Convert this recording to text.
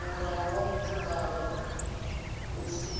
mulandu wa mutakalo u si